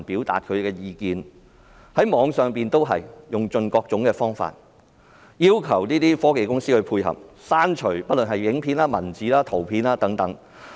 對於網上資料，警方用盡各種方法，要求科技公司配合，刪除影片、文字或圖片。